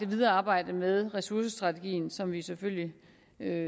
videre arbejde med ressourcestrategien som vi selvfølgelig